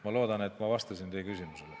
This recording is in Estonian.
Ma loodan, et ma vastasin teie küsimusele.